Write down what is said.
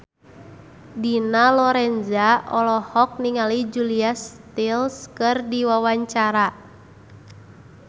Dina Lorenza olohok ningali Julia Stiles keur diwawancara